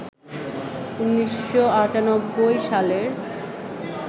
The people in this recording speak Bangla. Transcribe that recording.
১৯৯৮ সালের